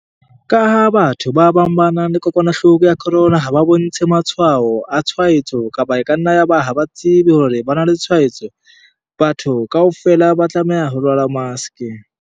Ka ha batho ba bang ba nang le kokwanahloko ya corona ha ba bontshe matshwao a tshwaetso kapa eka nna ya ba ha ba tsebe hore ba na le tshwaetso, batho kaofela ba tlameha ho rwala maske.